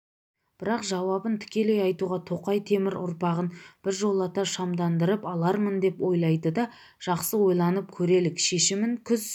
бірақ жауабын тікелей айтуға тоқай темір ұрпағын біржолата шамдандырып алармын деп ойлайды да жақсы ойланып көрелік шешімін күз